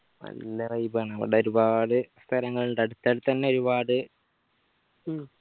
നല്ല vibe ആ അവിടെ ഒരുപാട് സ്ഥലങ്ങളിണ്ട് അടുത്തടുതന്നെ ഒരുപാട് ഉം